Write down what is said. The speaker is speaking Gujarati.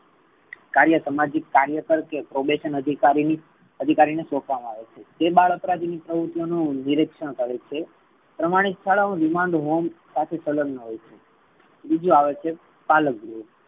કાર્ય સામાજિક કાર્ય કર કે probation અધિકારીની અધિકારી ને સોપવામાં આવે છે. તે બાળ અપરાધી ની પ્રવૃતિઓ નું નિરીક્ષણ કરે છે. પ્રામાણિક શાળાઓ remand home સાથે સલગ મા હોઈ છે. ત્રીજું આવે છે પાલક ગૃહ